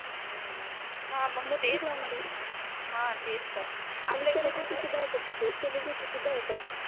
हम्म हा मग तेच तर मोठी ग्राउंड आहे हा तेच तर आपल्या इकडे आरणि सेलेब्रिटी सुद्धा येतात तिथे सेलेब्रिटी सुद्धा येतात